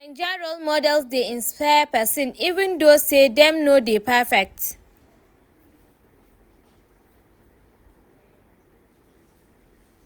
Naija role models dey inspire pesin even though say dem no dey perfect.